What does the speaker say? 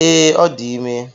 Ee, ọ dị ime